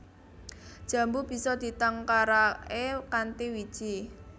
Jambu bisa ditangkaraké kanthi wiji